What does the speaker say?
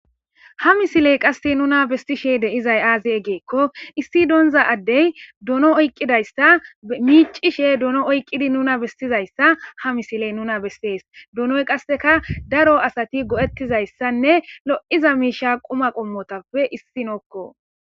ha misiley qasse nuna bestishe deizay aazi eggeekko issi doonza addey dono oyqqidayssa miicishe doono oyqqidi nuna bestizayssa ha misiley nuna bestees doonoy qasseka daro asati go7ettizayssanne lo7iza miisha quma qommotappe issi nokko